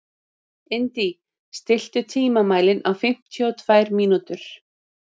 Indí, stilltu tímamælinn á fimmtíu og tvær mínútur.